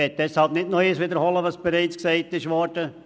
Deshalb will ich das bereits Gesagte nicht noch einmal wiederholen.